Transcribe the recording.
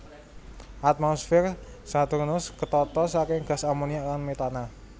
Atmosfer Saturnus ketata saking gas amoniak lan metana